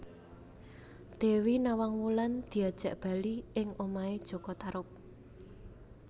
Dewi Nawang Wulan diajak bali ing omahé jaka Tarub